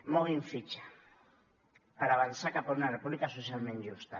moguin fitxa per avançar cap a una república socialment justa